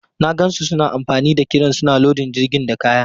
Na gan su suna amfani da kiren suna lodin jirgin da kaya.